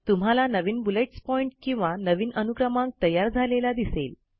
तुम्हाला नवीन bullets point किंवा नवीन अनुक्रमांक तयार झालेला दिसेल